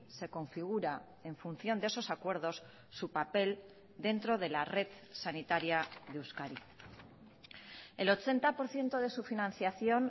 se configura en función de esos acuerdos su papel dentro de la red sanitaria de euskadi el ochenta por ciento de su financiación